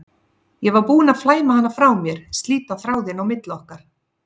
Ég var búin að flæma hana frá mér, slíta þráðinn á milli okkar.